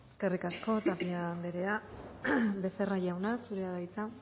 eskerrik asko tapia anderea becerra jauna zurea da hitza